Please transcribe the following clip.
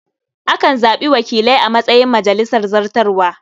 Akan zaɓi wakilai a matsayin majalisar zartarwa.